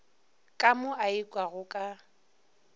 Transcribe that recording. ka mo a ikwago ka